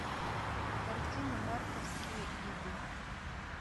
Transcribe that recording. картина мартовские иды